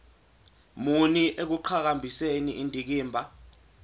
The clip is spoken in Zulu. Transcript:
muni ekuqhakambiseni indikimba